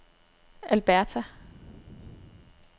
Alberta